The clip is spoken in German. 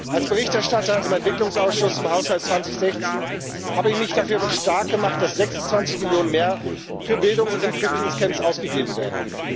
Als Berichterstatter im Entwicklungsausschuss zum Haushalt 2016 habe ich mich dafür stark gemacht, dass 26 Millionen mehr für Bildung in Flüchtlingscamps ausgegeben werden.